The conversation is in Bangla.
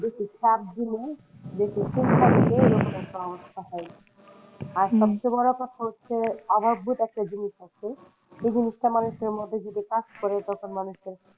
যে সাত দিনে আর সবচেয়ে বড় কথা হচ্ছে একটা জিনিস আছে সেই জিনিসটা মানুষের মধ্যে যদি কাজ করে তখন মানুষের,